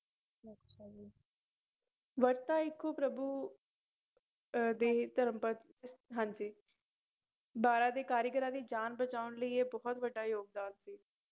ਵਰਤਾ ਇੱਕੋ ਪ੍ਰਭੂ ਅਹ ਦੇ ਧਰਮ ਪਦ ਹਾਂਜੀ ਬਾਰਾਂ ਦੇ ਕਾਰੀਗਰਾਂ ਦੀ ਜਾਨ ਬਚਾਉਣ ਲਈ ਇਹ ਬਹੁਤ ਵੱਡਾ ਯੋਗਦਾਨ ਸੀ।